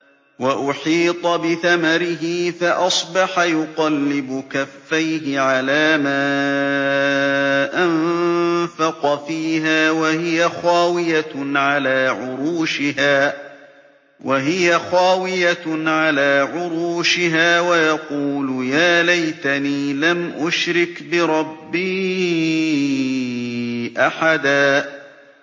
وَأُحِيطَ بِثَمَرِهِ فَأَصْبَحَ يُقَلِّبُ كَفَّيْهِ عَلَىٰ مَا أَنفَقَ فِيهَا وَهِيَ خَاوِيَةٌ عَلَىٰ عُرُوشِهَا وَيَقُولُ يَا لَيْتَنِي لَمْ أُشْرِكْ بِرَبِّي أَحَدًا